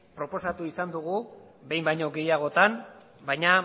proposatu izan dugu behin baino gehiagotan baina